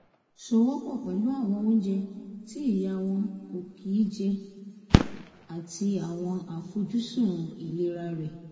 sowọ́ pọ̀ pẹ̀lú àwọn oúnjẹ tí ìyá wọn kò kí n jẹ àti àwọn àfojúsùn ìlera rẹ̀